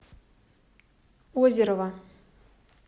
озерова